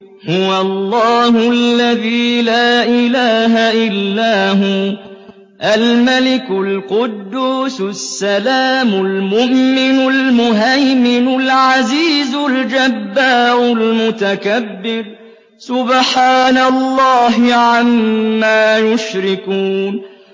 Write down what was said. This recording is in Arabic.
هُوَ اللَّهُ الَّذِي لَا إِلَٰهَ إِلَّا هُوَ الْمَلِكُ الْقُدُّوسُ السَّلَامُ الْمُؤْمِنُ الْمُهَيْمِنُ الْعَزِيزُ الْجَبَّارُ الْمُتَكَبِّرُ ۚ سُبْحَانَ اللَّهِ عَمَّا يُشْرِكُونَ